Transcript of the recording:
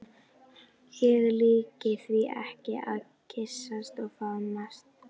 Ég líki því ekki við að kyssast og faðmast.